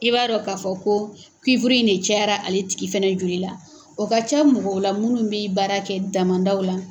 I b'a dɔ ka fɔ ko in de cayara ale tigi fɛnɛ joli la. O ka can mɔgɔw la minnu be baara kɛ damandaw la.